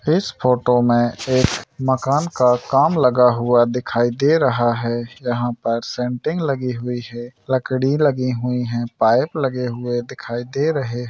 इस फोटो में एक मकान का काम लगा हुआ दिखाई दे रहा है यहाँ पर सेंटिंग लगी हुई है लकड़ी लगी हुई है पाइप लगे हुए दिखाई दे रहे --